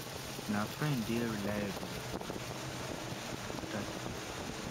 if na friend dey reliable and show up when e matter to them